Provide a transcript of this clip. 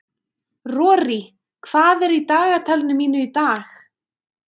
Rorí, hvað er í dagatalinu mínu í dag?